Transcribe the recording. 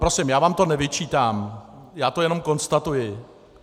Prosím, já vám to nevyčítám, já to jenom konstatuji!